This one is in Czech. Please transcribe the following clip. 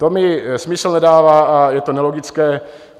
To mi smysl nedává a je to nelogické.